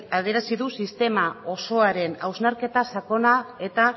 adierazi du sistema osoaren hausnarketa sakona eta